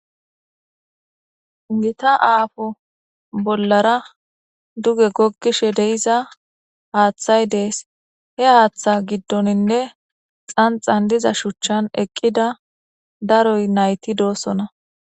gita aafo bollara duge goggishe deiza haaththay dees he haaththa giddoninne xanxan diza shuchchan eqqida daroy nayti doosona